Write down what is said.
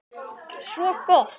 Svo gott!